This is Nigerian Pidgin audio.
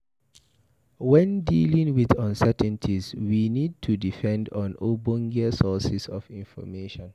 When dealing with uncertainties, we need to depend on ogbonge sources for information